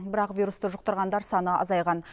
бірақ вирусты жұқтырғандар саны азайған